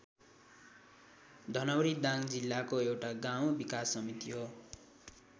धनौरी दाङ जिल्लाको एउटा गाउँ विकास समिति हो।